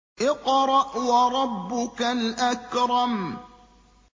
اقْرَأْ وَرَبُّكَ الْأَكْرَمُ